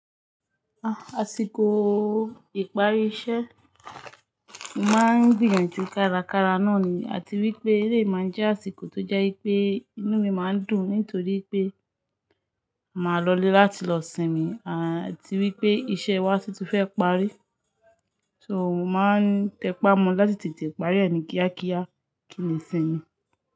Àsìkò ìparí iṣẹ́, mo máa ń gbìyànjú kárakára náà ni àti wípé eléyi máa ń jẹ́ àsìkò tó jẹ́ wipé inú mi máa ń dùn nítorí pé màá lọlé láti lọ sinmi àti wípé iṣẹ́ wa tún ti fẹ́ parí. So mo máa ń tẹpá mọ láti tètè parí ẹ ni kíákíá kí n lè sinmi.